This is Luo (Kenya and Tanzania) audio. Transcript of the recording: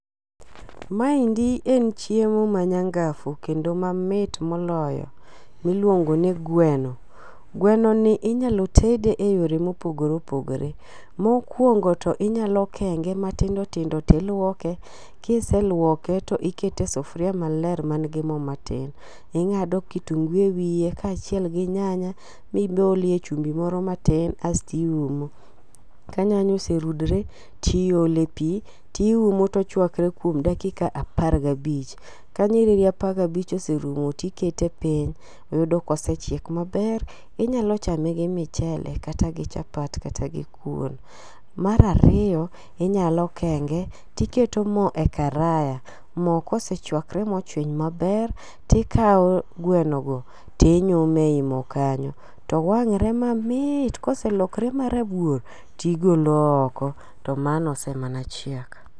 Maendi en chiemo manyangafu kendo mamit moloyo miluongo ni gweno. Gwenoni inyalo tede eyore mopogore opogore. Mokuongo to inyalo kenge matindo tindo , to iluoke, ka iseluoke to iketo e sufuria maler man gi mo matin. Ing'ado kitungu ewiye kaachiel gi nyanya bi bolie chumbi moro matin kasto iumo. Ka nyanya oserudore to iole pi to iumo to ochuakre kuom dakika apar gabich. Ka nyiriri apar gabich oserumo to ikete piny. Yudo ka osechiek maber. Inyalo chame gi michele kata gi chapat kata gui kuon. Mar ariyo inyalo kenge to iketo mo e karaya. Mo ka osechuakre mochwiny maber, to ikawo gweno go to inyumo ei mo kanyo to wang're mamit. Ka oselokore marabuor to igolo oko to mano ose mana chiek.